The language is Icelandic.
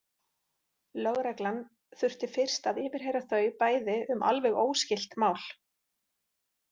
Lögreglan þurfti fyrst að yfirheyra þau bæði um alveg óskylt mál.